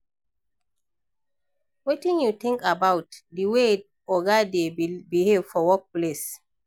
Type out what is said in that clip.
Wetin you think about di way oga dey behave for workplace?